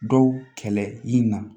Dɔw kɛlɛ i na